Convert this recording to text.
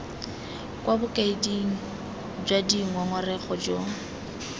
kwa bokaeding jwa dingongorego jo